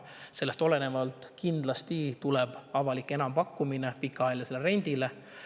Sellest olenevalt tuleb kindlasti avalik enampakkumine pikaajalise rendi kohta.